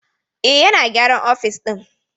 Eh, yana gyaran ofis ɗin